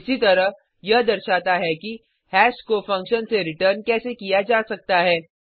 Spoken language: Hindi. इसीतरह यह दर्शाता है कि हैश को फंक्शन से रिटर्न कैसे किया जा सकता है